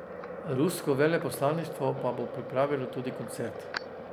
Rusko veleposlaništvo pa bo pripravilo tudi koncert.